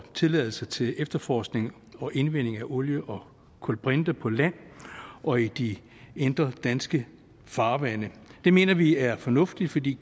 tilladelse til efterforskning og indvinding af olie og kulbrinter på land og i de indre danske farvande det mener vi er fornuftigt fordi